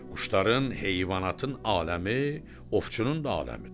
Quşların, heyvanatın aləmi, ovçunun da aləmidir.